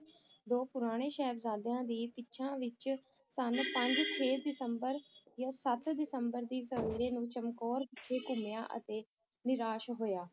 ਦੋ ਪੁਰਾਣੇ ਸਾਹਿਬਜ਼ਾਦਿਆਂ ਦੀ ਪਿੱਛਾ ਵਿੱਚ ਸੰਨ ਪੰਜ ਛੇ ਦਸੰਬਰ ਜਾਂ ਸੱਤ ਦਸੰਬਰ ਦੀ ਸਵੇਰ ਨੂੰ ਚਮਕੌਰ ਵਿਖੇ ਘੁੰਮਿਆ ਅਤੇ ਨਿਰਾਸ਼ ਹੋਇਆ।